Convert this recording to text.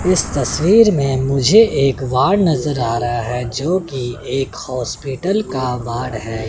इस तस्वीर में मुझे एक वार्ड नजर आ रहा है जोकि एक हॉस्पिटल का वार्ड है।